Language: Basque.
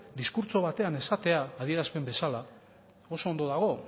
diskurtso batean esatea adierazpen bezala oso ondo dago